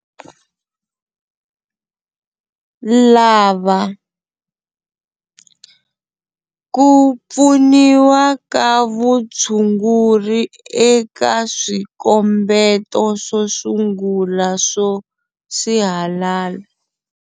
Lava- Ku pfuniwa ka vutshunguri eka swikombeto swo sungula swo sihalala.